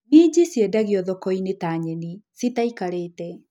Minji ciendagiothokoinĩ ta nyeni cĩtaikarĩte.